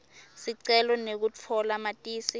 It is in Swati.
sicelo sekutfola matisi